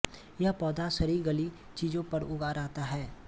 यह पौधा सड़ीगली चीजों पर उगा रहता है